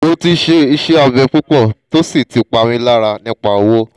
mo ti ṣe iṣẹ abẹ pupọ to si ti pa mi lara nipa owo